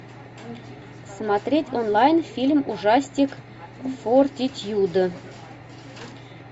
смотреть онлайн фильм ужастик фортитьюд